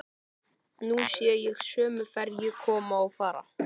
Nú sé ég sömu ferju koma og fara.